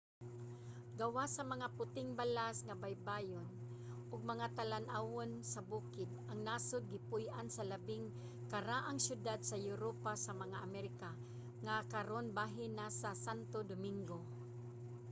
gawas sa mga puting balas nga baybayon ug mga talan-awon sa bukid ang nasod gipuy-an sa labing karaang syudad sa europa sa mga amerika nga karon bahin na sa santo domingo